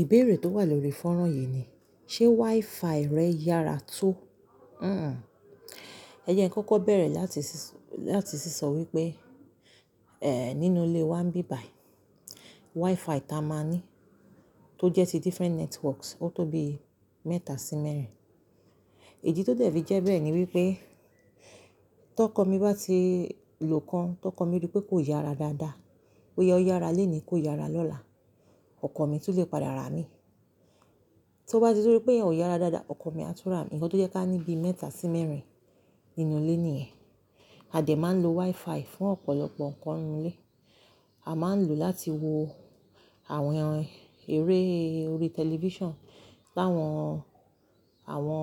Ìbéèrè tó wà lórí fọ́nrán yìí ni, ṣe WiFi rẹ yára tó? Hhm. Ẹ jẹ́ kí n kọ́kọ́ bẹ̀rẹ̀ láti, láti sísọ wípé, eh, nínú ilé wa ń bíbàị́ WiFi táa máa ní tó jẹ́ ti different networks ó tó bi mẹ́ta sí mẹ́rin. Idi tó dẹ̀ fi jẹ́ bẹ́ẹ̀ ni wípé, tó'kọ mi bá ti lò kan, tó'kọ mi rí pé kò yára dáadáa, boya o yára lónìí kó yára lọ́la, ọkọ̀ mi tún lè padà rá mi. Tó bá ti tun rí pé iyen ò yára dáadáa, ọkọ̀ mi á tún rà mí. Ǹkan tó jẹ́ ká ní bi mẹ́ta sí mẹ́rin nínú ilé nìyẹn. A dẹ̀ máa ń lo WiFi fún ọ̀pọ̀lọpọ̀ ǹkan nínú ilé. A máa ń lò ó láti wo àwọn eré orí television, láwọn, àwọn,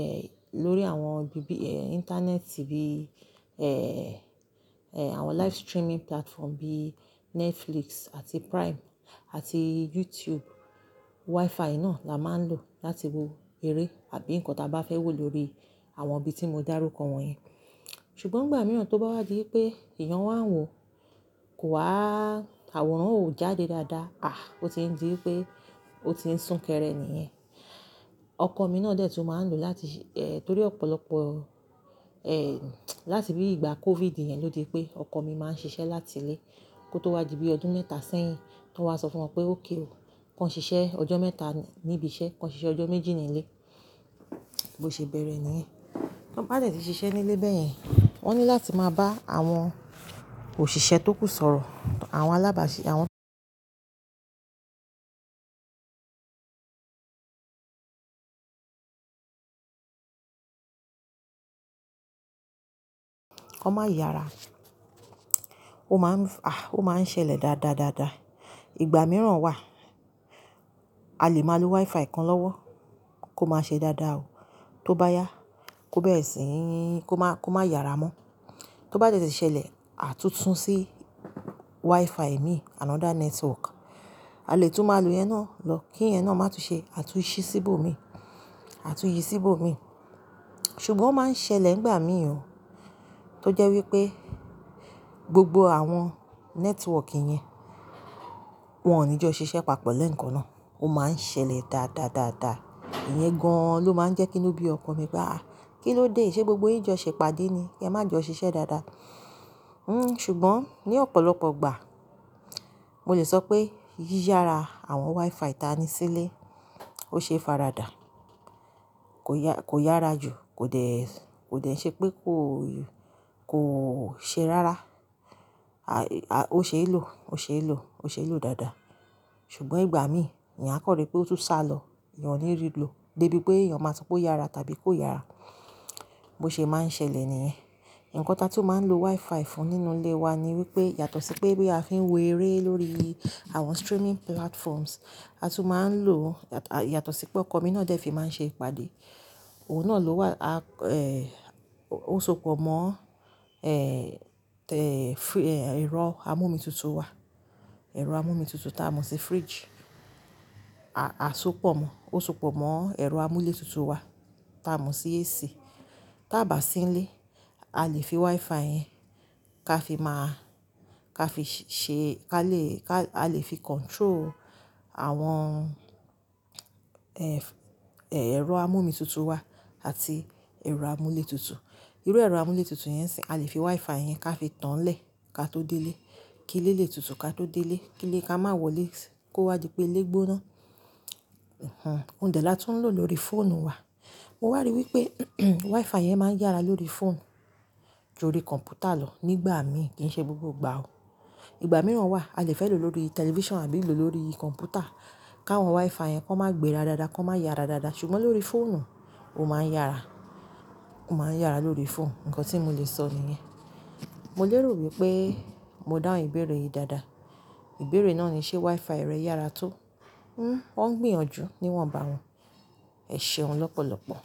eh, lórí àwọn bíbí, eh, Internet TV, eh, eh, àwọn live streaming platform bí Netflix àti Prime àti YouTube. WiFi náà la máa ń lò láti wo eré àbí ǹkan táa bá fẹ́ wò lórí àwọn ibi tí mo dá rúkọ wọ̀nyẹn. Ṣùgbọ́n ìgbà mìíràn tó bá wá di pé èyan wa ń wò kò wa, àwòrán ò jáde dáadáa, ah, ó ti ń di wípé ó ti ń sún kẹrẹ nìyẹn. Ọkọ̀ mi náà dẹ̀ tún máa ń lò láti, eh, torí ọ̀pọ̀lọpọ̀, eh, láti bí ìgbà COVID yẹn ló di pé ọkọ mi máa ń ṣiṣẹ́ láti ilé kó tó wá di bí ọdún mẹ́ta sẹ́yìn, tó wa sọ fún wọn pé ókè o, kó ṣiṣẹ́ ọjọ́ mẹ́ta níbi iṣẹ́, kó ṣiṣẹ́ ọjọ́ méjì ní ilé, bó ṣe bẹ̀rẹ̀ nìyẹn. Tan bá dẹ̀ ti ṣiṣẹ́ nílé bẹ́yẹn, wọ́n ní láti máa bá àwọn òṣìṣẹ́ tó kú sọ̀rọ̀, àwọn alábàáṣì, àwọn-- kó má yára. Ó máa ń, ah, ó máa ń ṣẹlẹ̀ dáadáadáa. Ìgbà mìíràn wà, a lè máa lo WiFi kan lọ́wọ́ kó má ṣe dáadáa o. Tó bá yá kó bẹ́ẹ̀ sì, kó má, kó má yára mọ́. Tó bá tẹ̀tẹ̀ ṣẹlẹ̀, a tún sún sí WiFi mi, another network. A lè tún máa lo ìyẹn náà lọ, kí ìyẹn náà má tún ṣe, a tún ṣí síbò mi, a tún yí síbò mi. Ṣùgbọ́n ó máa ń ṣẹlẹ̀ nígbà mìíràn, tó jẹ́ wípé gbogbo àwọn network yẹn wọ́n ò ní jọ ṣiṣẹ́ papọ̀ lẹ́ẹ̀kan náà. Ó máa ń ṣẹlẹ̀ dáadáadáadaa. Ìyẹn gan-an ló máa ń jẹ́ kí inú bí ọkọ mi bá, "Ah, kí ló dé? Ṣé gbogbo yín jọ ṣẹ̀ pàdé ni? Yẹn má jọ ṣiṣẹ́ dáadáa." Hmm, ṣùgbọ́n ní ọ̀pọ̀lọpọ̀ ìgbà, mo lè sọ pé yi'yára àwọn WiFi táa ní sílé. Ó ṣe é faradà. Kò ya-- kò yára jù, kò dẹ̀, kò dẹ̀ ṣe pé kó, kó ṣe rárá. A, a, ó ṣe é lò, ó ṣe é lò, ó ṣe é lò dáadáa. Ṣùgbọ́n ìgbà mí, eyán a kan rí pé ó tún sálọ, ìyẹn ò ní rí ló. Dé bí pé eyan máa sọ pé ó yára tàbí kó yára. Bó ṣe é máa ń ṣẹlẹ̀ nìyẹn. Ǹkan táa tí ó máa ń lo WiFi fún nínú ilé wa ni wípé, yàtọ̀ sí pé bí a fi ń wo eré lórí àwọn streaming platforms, a tún máa ń lò, a, yàtọ̀ sí pé ọkọ mi náà dẹ̀ fi máa ń ṣe ìpàdé. Òun náà ló wà, a, eh, ó sokù mọ́, eh, te, eh, ẹ̀rọ amómitutù wa. Ẹ̀rọ amómitutù táa ń mú sí fridge. A, a sopo mọ́, ó sopo mọ́ ẹ̀rọ amúlétutù wa táa ń mo sí AC. Táa bà sí ilé, a lè fi WiFi yẹn ká fi máa, ká fi ṣe, ká lè, ká, a lè fi control àwọn, eh, eh, ẹ̀rọ amómitutù wa àti ẹ̀rọ amúlétutù. Irú ẹ̀rọ amúlétutù yẹn sì, a lè fi WiFi yẹn ká fi tànlẹ̀ ká tó délé. Ki ilé lè tutù ká tó délé. Ki ilé ká má wọlé, kó wá di pé ilé gbóná. Hhm. Òun dẹ̀ la tó ń lò lórí fóònù wa. Mo wàrí wípé, WiFi yẹn máa ń yára lórí fóònù ju lórí kọ̀m̀pútà lọ nígbà mí, kì í ṣe gbogbo ìgbà o. Ìgbà mìíràn wà, a lè fẹ́ lò lórí television àbí lò lórí kọ̀m̀pútà, káwọn WiFi yẹn kó má gbera dáadáa, kó má yára dáadáa. Ṣùgbọ́n lórí fóònù, ó máa ń yára. Ó máa ń yára lórí fóònù. Ǹkan tí mo lè sọ nìyẹn. Mo lérò wípé mo dáhùn ìbéèrè yìí dáadáa. Ìbéèrè náà ni ṣe WiFi rẹ yára tó? Hmm, ó ń gbìyànjú níwọn bá wọn. Ẹ ṣeun lọ́pọ̀lọpọ̀.